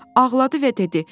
Ağladı və dedi: